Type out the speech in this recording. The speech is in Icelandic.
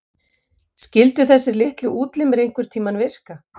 Skyldu þessir litlu útlimir einhverntíma virka?